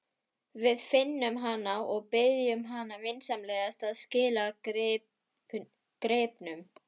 Við finnum hana og biðjum hana vinsamlega að skila gripnum.